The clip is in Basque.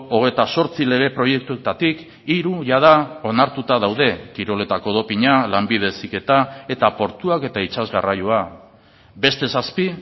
hogeita zortzi lege proiektuetatik hiru jada onartuta daude kiroletako dopina lanbide heziketa eta portuak eta itsas garraioa beste zazpi